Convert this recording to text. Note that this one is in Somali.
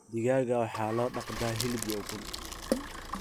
Digaagga waxaa loo dhaqdaa hilib iyo ukun.